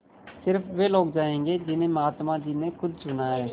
स़िर्फ वे लोग जायेंगे जिन्हें महात्मा जी ने खुद चुना है